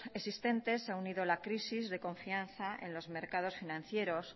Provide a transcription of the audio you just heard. existentes se ha unido la crisis de confianza en los mercados financieros